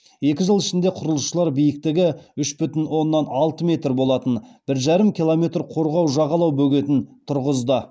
екі жыл ішінде құрылысшылар биіктігі үш бүтін оннан алты метр болатын бір жарым километр қорғау жағалау бөгетін тұрғызды